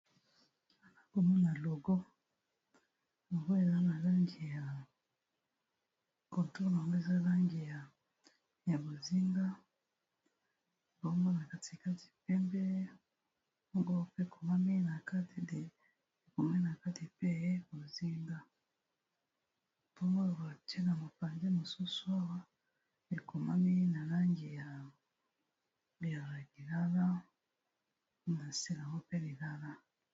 Namoni awa logo bo eza na langi ya otolo mbeza langi ya ya bozinga baoma na katikati pembe ngo pe komakatekomami na kati pe bozinga mpomooboake na mapanje mosusu awa ekomami na langi ya yaa bilala na selamo mpe bilala.